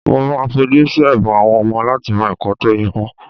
Mo máa fojú sí ẹ̀bùn àwọn ọmọ láti mọ ẹ̀kọ́ tó yẹ wọ́n